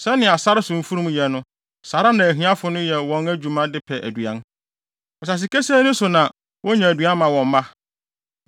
Sɛnea sare so mfurum yɛ no saa ara na ahiafo no yɛ wɔn adwuma de pɛ aduan; asase kesee no so na wonya aduan ma wɔn mma.